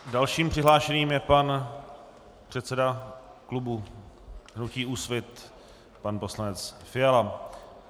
Dalším přihlášeným je pan předseda klubu hnutí Úsvit pan poslanec Fiala.